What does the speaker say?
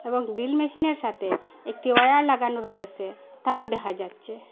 এবং গ্রিল মেশিনের সাতে একটি অয়ার লাগানো রয়েসে তাও দেখা যাচ্ছে।